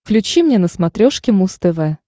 включи мне на смотрешке муз тв